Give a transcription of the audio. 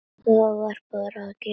Það varð bara að gerast.